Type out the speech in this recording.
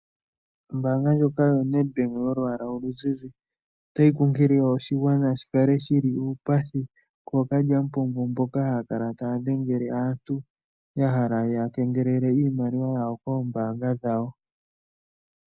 Ombanga ndjoka yoNedbank yolwaala oluzizi otayi kunkilile oshigwana shikale shili uupathi kookalyamupombo mboka haya kala taya dhengele aantu yahala yeya kengelele iimaliwa yawo koombanga dhawo.